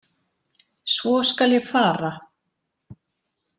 Svo skal ég fara.